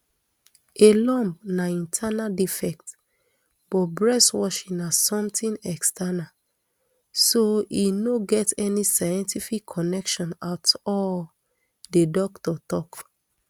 a lump na internal defect but breast washing na somtin external so e no get any scientific connection at all di doctor tok